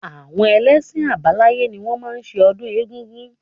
Àwọn ẹlẹ́ṣin àbáláyé ni wọ́n máa ń ṣe ọdún egungun